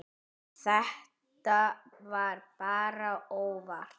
Þetta var bara óvart.